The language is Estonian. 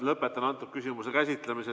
Lõpetan selle küsimuse käsitlemise.